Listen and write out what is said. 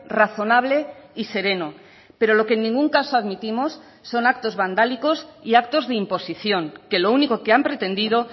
razonable y sereno pero lo que en ningún caso admitimos son actos vandálicos y actos de imposición que lo único que han pretendido